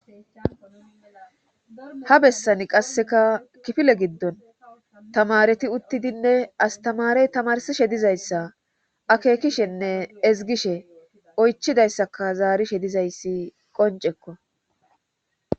Ha bessani qasseka kifile giddon tamareti uttidinne astamarey tamarsiishshe dizayssa akekishshenne ezigiishshe oychidayssaka zaarisshhe dizayssi qoncekko